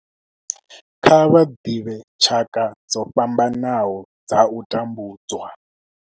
Kha vha ḓivhe tshaka dzo fhambanaho dza u tambudzwa.